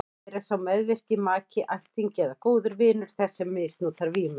Hér er sá meðvirki maki, ættingi eða góður vinur þess sem misnotar vímuefnin.